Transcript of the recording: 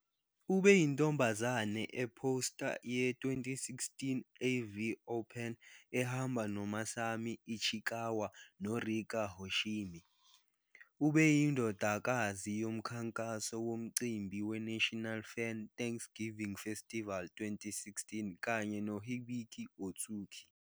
Ubeyintombazane e-poster ye-2016 AV Open ehamba noMasami Ichikawa noRika Hoshimi. Ubeyindodakazi yomkhankaso womcimbi weNational Fan Thanksgiving Festival 2016 kanye noHibiki Ōtsuki.